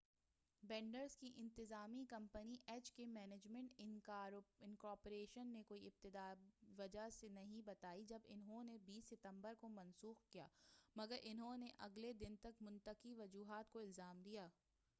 bands کی انتظامی company H K management incorporation نے کوئی ابتدائی وجہ نہیں بتائی جب اُنہوں نے 20 ستبر کو منسوخ کیا مگر اُنہوں نے اگلے دن تک منطقی وجوہات کو الزام دیا